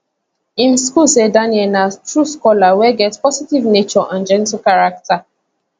im school say daniel na true scholar wey get positive nature and gentle character